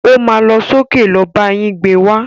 O má lọ sókè lọ bá yín gbé wá.